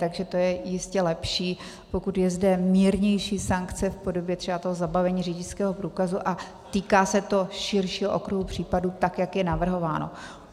Takže to je jistě lepší, pokud je zde mírnější sankce v podobě třeba toho zabavení řidičského průkazu, a týká se to širšího okruhu případů, tak jak je navrhováno.